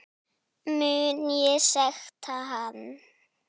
Mun ég sekta hann?